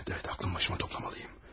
Hə, hə, ağlımı başıma toplamalıyam.